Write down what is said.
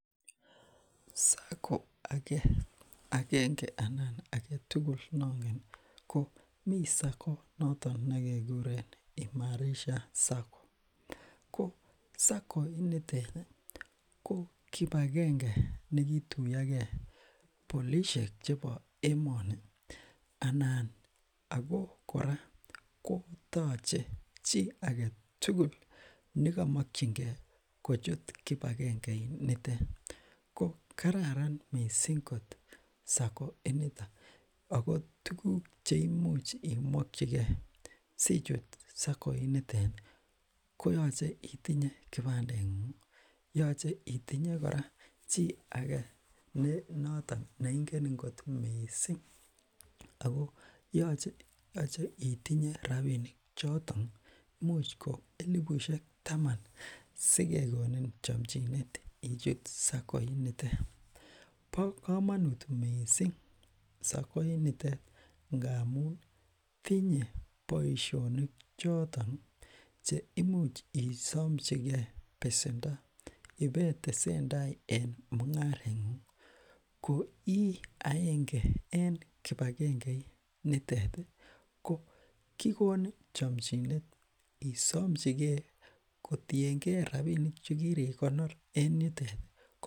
sacco akenge anan agetugul noongen ko mi sacco noton nekekuren imarisha sacco ko sacco initeti ko kipagenge nekituyoke polishek chebo emoni anan ako kora kotoche chi agetugul nekomokyinkee kochut kipagengeinitet ko kararan mising kot sacco initok ako tuguk cheimuch imokyikee sichut sacco initeti koyoche itinye kibandengungi yoche itinye kora chi ake nenotok neingenin kot mising ako yoche itinye rapinik choton imuch koelibushek taman sikekonin chomchinet ichut sacco initet bo komonut mising sacco initet ngamun tinye boishonik chotoni cheimuch isomchikee pesendo ipeitesentaa en mungarengungi koi aenge en kipagengeiniteti ko kikonin chomchinet isomchikee kotiengee rapinik chekirikonor en yuteti ko